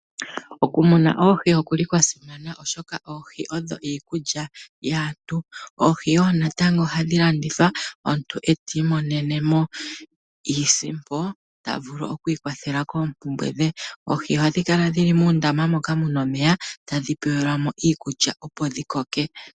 Okumuna oohi okwa simana, oshoka oohi odho iikulya yaantu. Oohi ohadhi landithwa omuntu e ta imono mo iisimpo ta vulu oku ikwathela koompumbwe dhe. Oohi ohadhi kala dhi li muundama moka mu na omeya tadhi pelwa mo iikulya, opo dhi koke.